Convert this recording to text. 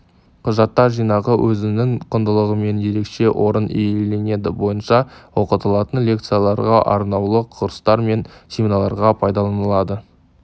құжаттар жинағы өзінің құндылығымен ерекше орын иеленеді бойынша оқытылатын лекцияларға арнаулы курстар мен семинарларға пайдаланылады